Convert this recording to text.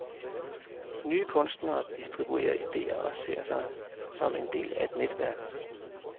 Nye kunstnere distribuerer idéer og ser sig som en del af et netværk.